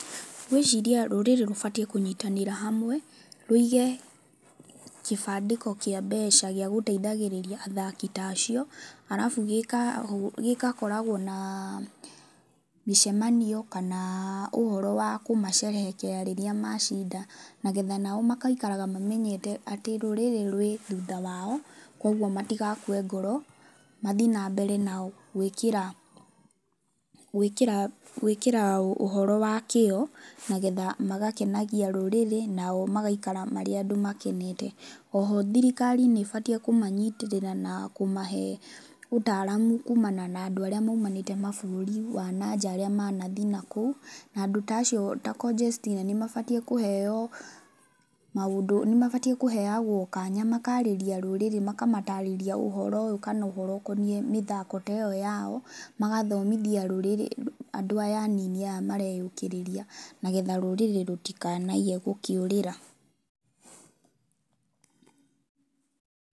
Ngwĩciria rũrĩrĩ rwagĩriirwo kũnyitanĩra hamwe rũige kĩbandĩko kĩa mbeca gĩa gũteithagĩrĩria athaki ta acio arabu, gĩgakoragwo na mĩcemanio kana ũhoro wa kũmacerehekea rĩrĩa macinda na getha nao magaikaraga mamenyete atĩ rũrĩrĩ rwĩ thutha wao, koguo matigakue ngoro, mathiĩ na mbere gwĩkĩra, gwĩkĩra, gwĩkĩra ũhoro wa kĩo, nĩgetha magakenagia rũrĩrĩ nao magaikara marĩa andũ makenete. O ho thirikari nĩ ĩbatiĩ kũmanyitĩrĩra na kũmahe ũtaramu kumana na andũ arĩa maumanĩte mabũrũri wa na nja arĩa manathiĩ nakũu. Na andũ ta acio ta Conjestina nĩ mabatiĩ kũheoagwo kanya makarĩria rũrĩrĩ makamatarĩrĩria ũhoro ũyũ kana ũhoro ũkoniĩ mĩthako ta ĩyo yao, magathomithia rũrĩrĩ, andũ aya anini aya mareyũkiriria na getha rũrĩrĩ rũtikanahe gũkĩũrĩra.